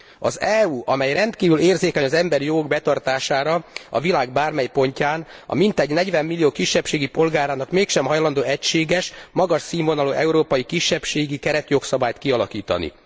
Az EU, amely rendkívül érzékeny az emberi jogok betartására a világ bármely pontján, mintegy 40 millió kisebbségi polgárának mégsem hajlandó egységes, magas színvonalú európai kisebbségi keretjogszabályt kialakítani.